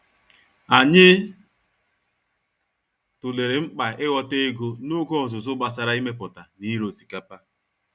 Anyị tụlere mkpa ịghọta ego n’oge ọzụzụ gbasara imepụta na ire osikapa